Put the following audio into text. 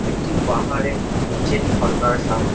একটি পাহাড়ের নিচের ঝর্ণার সামনে।